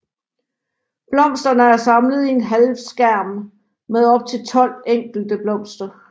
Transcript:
Blomsterne er samlet i en halvskærm med op til tolv enkeltblomster